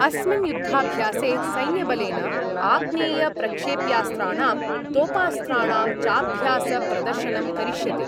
अस्मिन् युद्धाभ्यासे सैन्यबलेन आग्नेयप्रक्षेप्यास्त्राणां, तोपास्त्राणां चाभ्यासप्रदर्शनं करिष्यते।